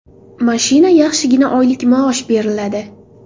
Mashina, yaxshigina oylik maosh beriladi.